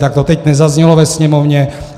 Tak to teď nezaznělo ve Sněmovně.